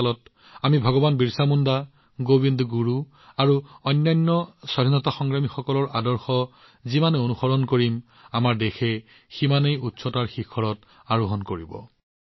অমৃত কালৰ সময়ত আমি ভগৱান বিৰচা মুণ্ডা গোবিন্দ গুৰু আৰু অন্যান্য স্বাধীনতা সংগ্ৰামীসকলৰ আদৰ্শক যিমানে বিশ্বস্ততাৰে অনুসৰণ কৰিম আমাৰ দেশে সিমানেই নতুন উচ্চতা স্পৰ্শ কৰিব